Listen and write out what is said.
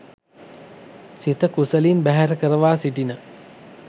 සිත කුසලින් බැහැර කරවා සිටින